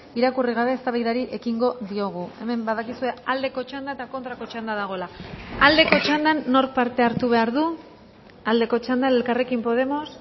irakurri gabe eztabaidari ekingo diogu hemen badakizue aldeko txanda eta kontrako txanda dagoela aldeko txandan nork parte hartu behar du aldeko txandan elkarrekin podemos